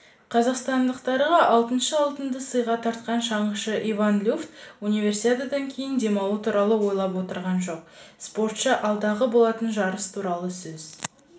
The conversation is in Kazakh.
қазақстандықтарға алтыншы алтынды сыйға тартқан шаңғышы иван люфт универсиададан кейін демалу туралы ойлап отырған жоқ спортшы алдағы болатын жарыс туралы сөз